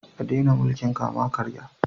A daina mulkin kama-karya